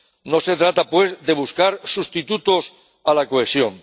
No se trata, pues, de buscar sustitutos a la cohesión